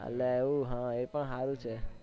અલ્યા એવું હા એ પણ હારું છે